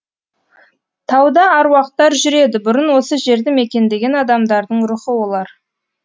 тауда аруақтар жүреді бұрын осы жерді мекендеген адамдардың рухы олар